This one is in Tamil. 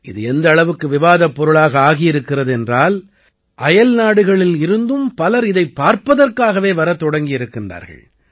இது எந்த அளவுக்கு விவாதப் பொருளாக ஆகி இருக்கிறது என்றால் அயல்நாடுகளிலிருந்தும் பலர் இதைப் பார்ப்பதற்காகவே வரத் தொடங்கி இருக்கிறார்கள்